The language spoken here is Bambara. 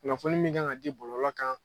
Kunnafoni min kan ka di bɔlɔlɔ kan.